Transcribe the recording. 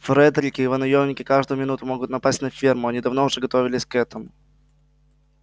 фредерик и его наёмники каждую минуту могут напасть на ферму они давно уже готовились к этому